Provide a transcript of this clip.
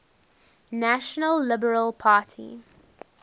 national liberal party